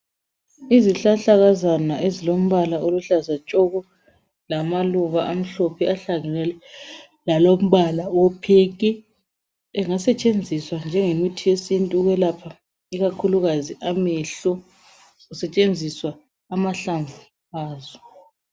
Izihlahlakazana ezilombala oluhlaza tshoko lamaluba amhlophe ahlangene lalombala owepink engasetshenziswa njenge mithi yesintu ukwelapha ikakhulu amehlo kusetshenziswa amahlamvu azo.